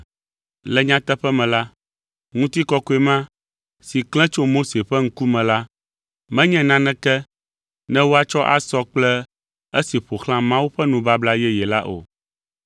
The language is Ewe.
Le nyateƒe me la, ŋutikɔkɔe ma si klẽ tso Mose ƒe ŋkume la menye naneke ne woatsɔ asɔ kple esi ƒo xlã Mawu ƒe nubabla yeye la o.